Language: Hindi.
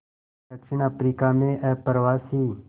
दक्षिण अफ्रीका में अप्रवासी